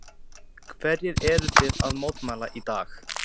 Hverju eruð þið að mótmæla í dag?